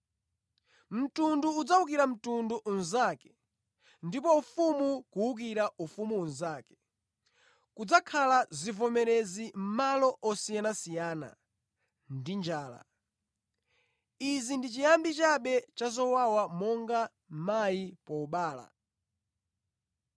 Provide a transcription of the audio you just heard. Mtundu udzawukira mtundu unzake, ndi ufumu kuwukira ufumu unzake. Kudzakhala zivomerezi mʼmalo osiyanasiyana, ndi njala. Izi ndi chiyambi chabe cha zowawa monga mayi pobereka.